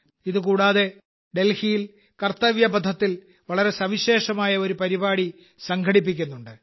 ഇതുകൂടാതെ ഡൽഹിയിൽ കർത്തവ്യ പഥത്തിൽ വളരെ സവിശേഷമായ ഒരു പരിപാടി സംഘടിപ്പിക്കുന്നുണ്ട്